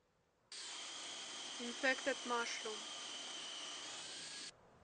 инфектед машрум